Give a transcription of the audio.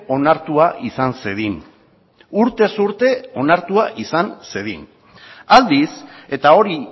onartua izan zedin urtez urte onartua izan zedin aldiz eta hori